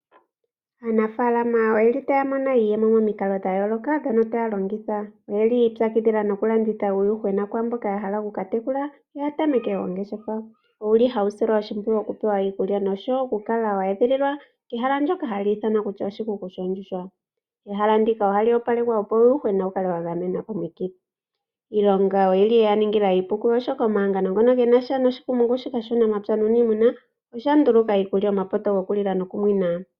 Aanafaalama otaya mono iiyemo momikalo dha yooloka ndhono taya longitha. Oyi ipyakidhila taya landitha uuyuhwena kwaa mboka ya hala oku ka tekula ya tameke oongeshefa. Ohawu silwa oshimpwiyu okupewa iikulya noshowo okukala we edhililwa kehala ndyoka hali ithanwa kutya oshikuku. Ehala ndika ohali opalekwa, opo uuyuhwena wu kale wa gamenwa komikithi. Iilonga oye yi ya ningila iipu, oshoka omahangano ngaka ge na sha noshikumungu shika shuunamapya nuuniimuna osha nduluka iikulya, omapoto gokulila nokunwina.